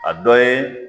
A dɔ ye